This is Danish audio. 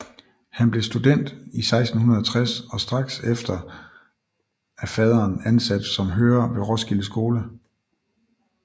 Han blev student 1660 og strax efter af faderen ansat som hører ved Roskilde Skole